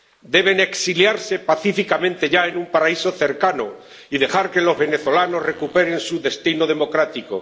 Deben exiliarse pacíficamente ya en un paraíso cercano y dejar que los venezolanos recuperen su destino democrático.